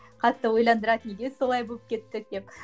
қатты ойландырады неге солай болып кеттік деп